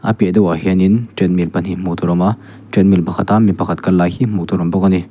a piah deuhah hianin treadmill pahnih hmuh tûr awm a treadmill pakhat a mi pakhat kal lai hi hmuh tûr awm bawk a ni.